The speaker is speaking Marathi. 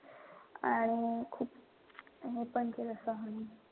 आणि खूप हेपण केलं सहन.